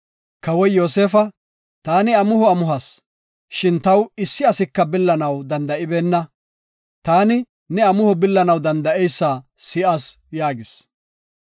Kawoy Yoosefa, “Taani amuho amuhas, shin taw issi asika billanaw danda7ibeenna. Taani, ne amuho billanaw danda7eysa si7as” yaagis.